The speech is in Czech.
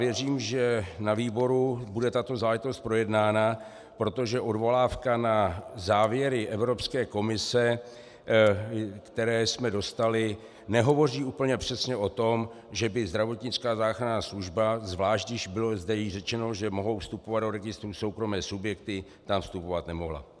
Věřím, že na výboru bude tato záležitost projednána, protože odvolávka na závěry Evropské komise, které jsme dostali, nehovoří úplně přesně o tom, že by zdravotnická záchranná služba, zvlášť když bylo zde již řečeno, že mohou vstupovat do registru soukromé subjekty, tam vstupovat nemohla.